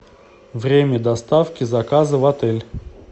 время доставки заказа в отель